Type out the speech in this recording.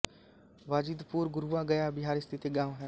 बाजिदपुर गुरुआ गया बिहार स्थित एक गाँव है